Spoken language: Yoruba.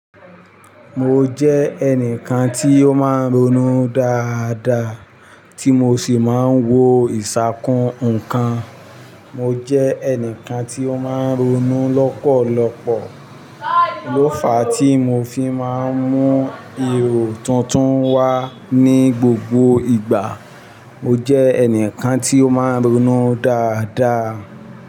Mo jẹ́ ẹnìkan tí ó máa ń ronú dáadáa, tí mo sì máa ń wo ìṣàkún ǹkan. Mo jẹ́ ẹnìkan tí ó máa ń ronú lọ́pọ̀lọpọ̀, ló fàá tí mo fi máa ń mú èrò tuntun wá ní gbogbo ìgbà. Mo jẹ́ ẹnìkan tí ó máa ń ronú dáadáa.